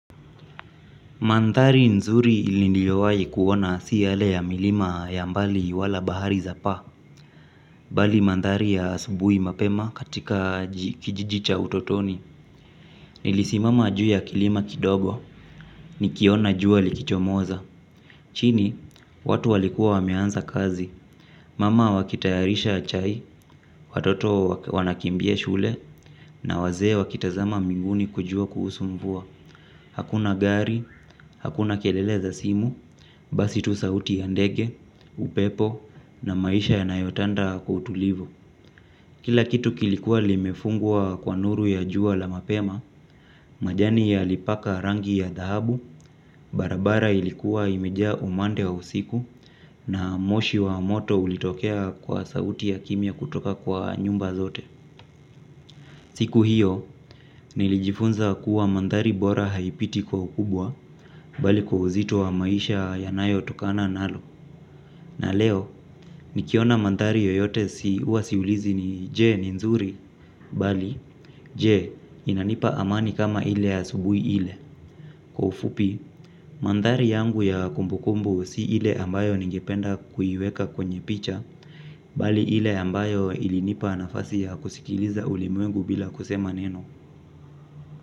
Mandhari nzuri ili niliowai kuona si yale ya milima ya mbali wala bahari za pa. Bali mandari ya asubui mapema katika kijiji cha utotoni. Nilisimama juu ya kilima kidogo nikiona jua likichomoza. Chini, watu walikuwa wameanza kazi. Mama wakitayarisha chai, watoto wanakimbia shule na wazee wakitazama mbinguni kujua kuhusu mvua. Hakuna gari, hakuna kelele za simu, basi tu sauti ya ndege, upepo na maisha yanayotanda kwa utulivu. Kila kitu kilikuwa limefungwa kwa nuru ya jua la mapema, majani yalipaka rangi ya dhahabu, barabara ilikuwa imeja umande wa usiku na moshi wa moto ulitokea kwa sauti ya kimya kutoka kwa nyumba zote. Siku hiyo, nilijifunza kuwa mandhari bora haipiti kwa ukubwa, bali kwa uzito wa maisha yanayotokana nalo. Na leo, nikiona mandhari yoyote si uwasiulizi ni je ni nzuri, bali je inanipa amani kama ile ya asubui ile. Kwa ufupi, mandhari yangu ya kumbukumbu si ile ambayo ningependa kuiweka kwenye picha, bali ile ambayo ilinipa nafasi ya kusikiliza ulimwengu bila kusema neno.